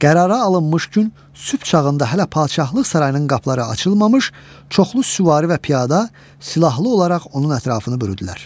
Qərara alınmış gün sübh çağında hələ padşahlıq sarayının qapıları açılmamış, çoxlu süvari və piyada silahlı olaraq onun ətrafını bürüdülər.